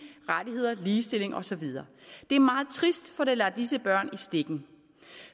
rettigheder ligestilling og så videre det er meget trist for det lader disse børn i stikken